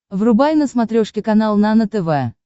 врубай на смотрешке канал нано тв